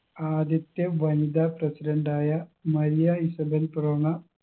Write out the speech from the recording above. ആദ്യത്തെ വനിതാ president ആയ മരിയ ഇസബെൽ പെറോണ